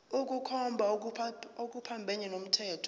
ukukhomba okuphambene nomthetho